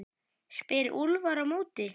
spyr Úlfar á móti?